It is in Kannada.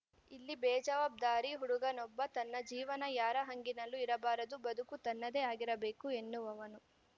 ಇಲ್ಲಿ ಬೇಜವಾಬ್ದಾರಿ ಹುಡುಗನೊಬ್ಬ ತನ್ನ ಜೀವನ ಯಾರ ಹಂಗಿನಲ್ಲೂ ಇರಬಾರದು ಬದುಕು ತನ್ನದೇ ಆಗಿರಬೇಕು ಎನ್ನುವವನು